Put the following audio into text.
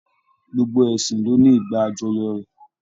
Gbogbo ẹsìn lo ní ìgbà ajọyọ́ rẹ.